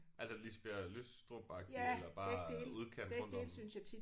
Altså Lisbjerg Lystrup agtigt eller bare udkant rundt om